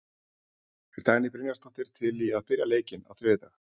Er Dagný Brynjarsdóttir til í að byrja leikinn á þriðjudag?